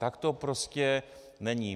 Tak to prostě není.